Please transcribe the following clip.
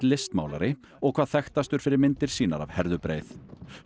listmálari og hvað þekktastur fyrir myndir sínar af Herðubreið